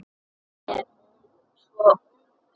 Er hún svo ung?